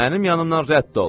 Mənim yanımdan rədd ol.